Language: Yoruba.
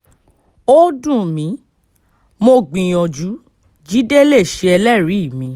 ó dùn mí mo gbìyànjú jíde lè ṣe ẹlẹ́rìí mi